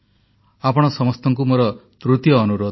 ଆପଣ ସମସ୍ତଙ୍କୁ ମୋର ତୃତୀୟ ଅନୁରୋଧ